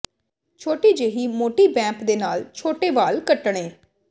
ਛੋਟੀ ਜਿਹੀ ਮੋਟੀ ਬੈਂਪ ਦੇ ਨਾਲ ਛੋਟੇ ਵਾਲ ਕੱਟਣੇ